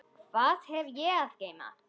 Hvað hef ég að geyma?